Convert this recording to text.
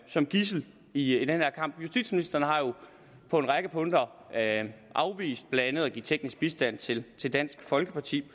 som gidsel i i denne kamp justitsministeren har på en række punkter afvist blandt andet at give teknisk bistand til til dansk folkeparti